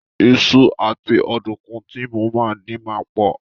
Iṣu àti ọ̀dùnkún tí mo máa dín ma pọ̀.